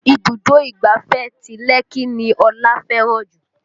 Ibùdó ìgbáfẹ́ ti Lekki ni Ọlá fẹ́ràn jù